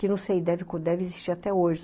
Que não sei, deve existir até hoje.